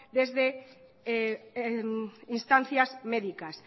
desde instancias médicas